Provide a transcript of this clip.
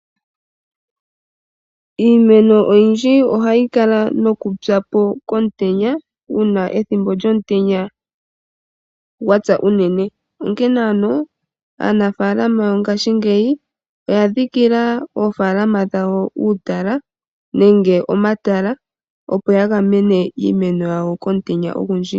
Iimeno oyindji oha yi kala noku pyapo komutenya, uuna ethimbo lyomutenya gwatsa unene. Onkene ano aanafaalama yongaashingeyi oya dhikila oofalaama dhawo omatala opo ya gamene iimeno yawo komutenya ogundji.